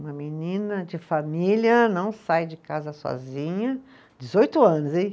Uma menina de família, não sai de casa sozinha, dezoito anos, hein?